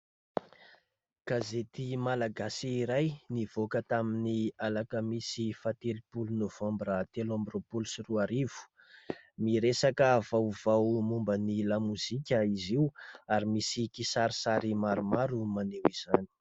Gazety Malagasy iray nivoaka tamin'ny Alakamisy fahatelopolo Novambra telo amby roapolo sy roarivo, miresaka vaovao momba ny lamozika izy io ary misy kisarisary maromaro maneho izany.